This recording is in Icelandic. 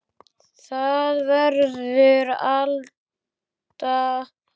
Það verður Alda.